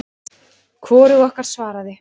Hvorug okkar svaraði.